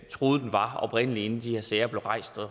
troede den var oprindelig inden de her sager blev rejst